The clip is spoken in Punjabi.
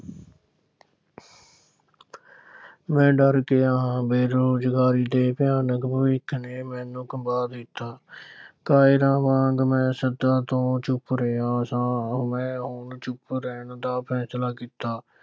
ਮੈਂ ਡਰ ਗਿਆ ਹਾਂ ਬੇਰੁਜ਼ਗਾਰੀ ਦੇ ਭਿਆਨਕ ਭਵਿੱਖ ਨੇ ਮੈਨੂੰ ਕੰਬਾ ਦਿੱਤਾ ਕਾਇਰਾਂ ਵਾਂਗ ਮੈਂ ਸਦਾ ਤੋਂ ਚੁੱਪ ਰਿਹਾ ਸਾਂ, ਮੈਂ ਹੁਣ ਚੁੱਪ ਰਹਿਣ ਦਾ ਫੈਸਲਾ ਕੀਤਾ।